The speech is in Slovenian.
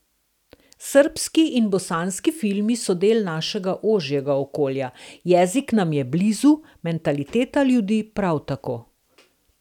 Srbski in bosanski filmi so del našega ožjega okolja, jezik nam je blizu, mentaliteta ljudi prav tako.